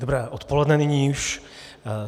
Dobré odpoledne nyní už.